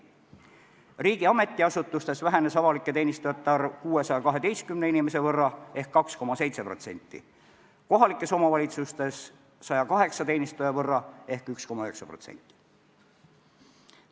Riigi ametiasutustes vähenes avalike teenistujate arv 612 inimese võrra ehk 2,7%, kohalikes omavalitsustes 108 teenistuja võrra ehk 1,9%.